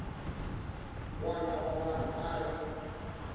wana wa vanhu a ri